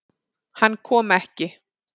Hann kom ekki.